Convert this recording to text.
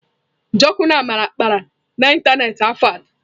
Njoku na Amarachi kpara na ịntanetị afọ atọ.